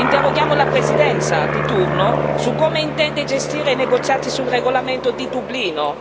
Interroghiamo la Presidenza di turno su come intende gestire i negoziati sul regolamento di Dublino.